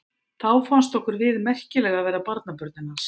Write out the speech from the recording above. Þá fannst okkur við merkileg að vera barnabörnin hans.